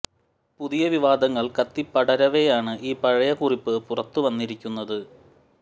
പുതിയ വിവാദങ്ങൾ കത്തി പടരവെയാണ് ഈ പഴയ കുറിപ്പ് പുറത്തു വന്നിരിക്കുന്നത്